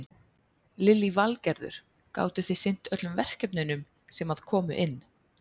Lillý Valgerður: Gátu þið sinnt öllum verkefnunum sem að komu inn?